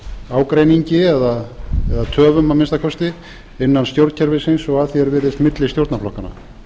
ágreiningi eða töfum að minnsta kosti innan stjórnkerfisins eða að því er virðist milli stjórnarflokkanna